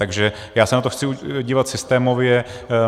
Takže já se na to chci dívat systémově.